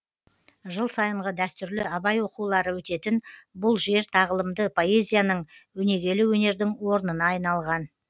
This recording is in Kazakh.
жыл сайынғы дәстүрлі абай оқулары өтетін бұл жер тағылымды поэзияның өнегелі өнердің орнына айналған